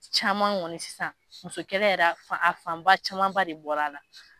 Caman kɔni sisan muso yɛrɛ a fanba camanba de bɔra a la